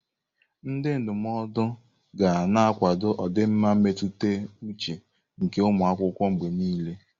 Ndị ndụmọdụ ga na-akwado ọdịmma mmetụta uche nke ụmụ akwụkwọ mgbe niile.